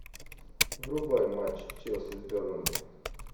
врубай матч челси с бернли